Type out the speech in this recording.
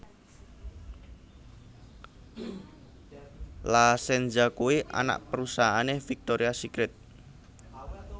La Senza kuwi anak perusahaane Victoria Secret